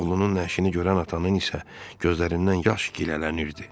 Oğlunun nəşini görən atanın isə gözlərindən yaş gilələnirdi.